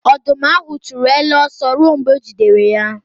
Ọdụm ahụ chụrụ ele ọsọ ruo mgbe o jidere ya.